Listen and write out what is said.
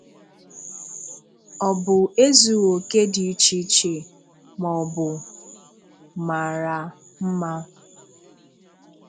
Ọ bụ ezùghì okè dị iche iche, ma, ọ bụ màrà mmà.